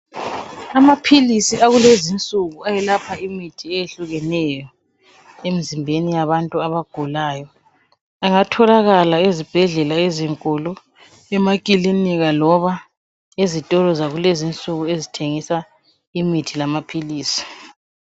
Amaphilisi akulezinsuku ayelapha imithi eyehlukeneyo emzimbeni yabantu abagulayo angatholakala ezibhedlela ezinkulu, emakilinika loba ezitolo zakulezinsuku ezithengisa imithi lamaphilisi